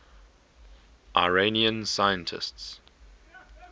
iranian scientists